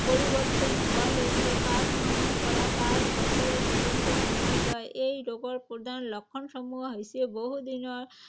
পৰিবৰ্তন হোৱালৈকে পাঁচ মাহৰ পৰা পাঁচ বছৰৰ পৰ্যন্ত সময় লয়। এই ৰোগৰ প্ৰধান লক্ষণসমূহ হৈছে. বহুদিনৰ